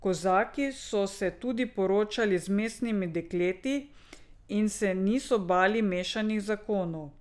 Kozaki so se tudi poročali z mestnimi dekleti in se niso bali mešanih zakonov.